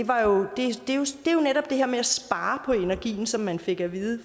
her med at spare på energien som man fik at vide